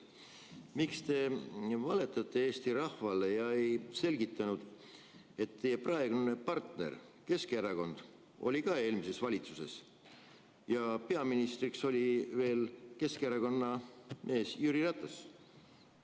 Miks te valetate Eesti rahvale ja ei selgita, et teie praegune partner Keskerakond oli samuti eelmises valitsuses ja peaministriks oli veel Keskerakonna esimees Jüri Ratas?